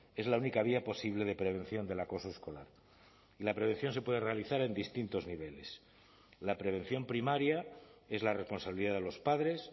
es la única vía posible de prevención del acoso escolar y la prevención se puede realizar en distintos niveles la prevención primaria es la responsabilidad de los padres